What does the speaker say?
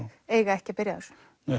eiga ekki að byrja á þessu